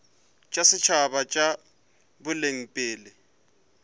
tša setšhaba tša boleng pele